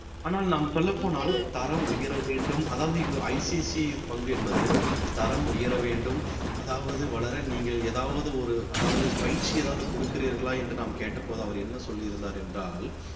ஆனால் நாம் சொல்லப் போனால் தரம் உயர வேண்டும் அதாவது இது ICICI பங்கு என்பது தரம் உயரவேண்டும் அதாவது வளர நீங்கள் ஏதாவது ஒரு அதாவது பயிற்சி ஏதாவது கொடுக்கிறீர்களா என்று நாம் கேட்டபோது அவர் என்ன சொல்லியிருந்தார் என்றால்